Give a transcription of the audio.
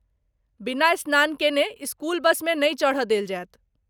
बिना स्नान केने स्कूल बसमे नहि चढ़ देल जायत।